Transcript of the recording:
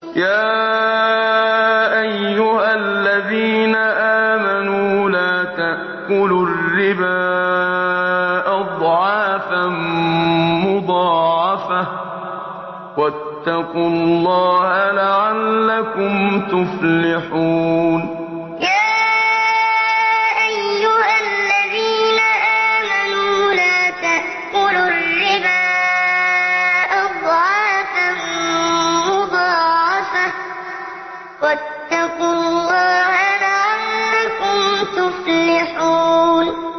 يَا أَيُّهَا الَّذِينَ آمَنُوا لَا تَأْكُلُوا الرِّبَا أَضْعَافًا مُّضَاعَفَةً ۖ وَاتَّقُوا اللَّهَ لَعَلَّكُمْ تُفْلِحُونَ يَا أَيُّهَا الَّذِينَ آمَنُوا لَا تَأْكُلُوا الرِّبَا أَضْعَافًا مُّضَاعَفَةً ۖ وَاتَّقُوا اللَّهَ لَعَلَّكُمْ تُفْلِحُونَ